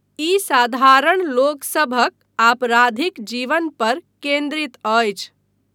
ई साधारण लोकसभक आपराधिक जीवन पर केन्द्रित अछि।